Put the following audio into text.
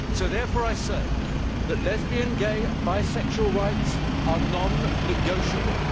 I therefore say that lesbian, gay and bisexual rights are non negotiable.